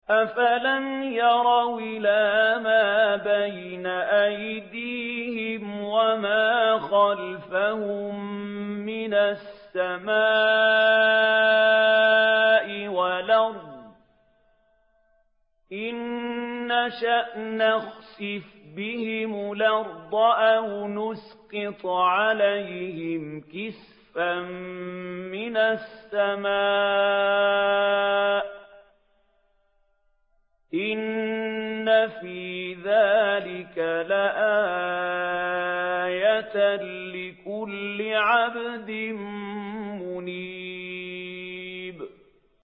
أَفَلَمْ يَرَوْا إِلَىٰ مَا بَيْنَ أَيْدِيهِمْ وَمَا خَلْفَهُم مِّنَ السَّمَاءِ وَالْأَرْضِ ۚ إِن نَّشَأْ نَخْسِفْ بِهِمُ الْأَرْضَ أَوْ نُسْقِطْ عَلَيْهِمْ كِسَفًا مِّنَ السَّمَاءِ ۚ إِنَّ فِي ذَٰلِكَ لَآيَةً لِّكُلِّ عَبْدٍ مُّنِيبٍ